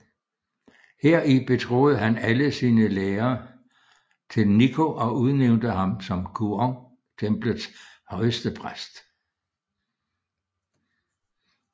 Heri betroede han alle sine lærer til Nikko og udnævnte ham som Kuon templets højestepræst